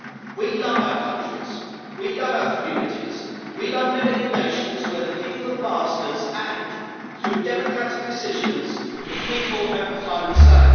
We love our countries, we love our communities, we love living in nations where the people are the masters and, through democratic decisions, the people have the final say.